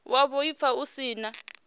wa vhuaifa hu si na